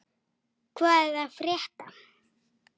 Hvað er að frétta!